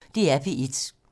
DR P1